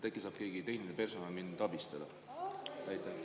Äkki saab keegi tehnilisest personalist mind abistada?